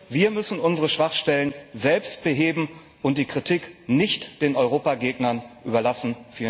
Wir müssen unsere Schwachstellen selbst beheben und die Kritik nicht den Europagegnern überlassen.